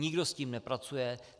Nikdo s tím nepracuje.